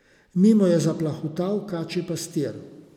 Mimo je zaplahutal kačji pastir.